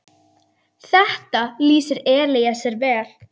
Þetta lýsir Elíeser vel.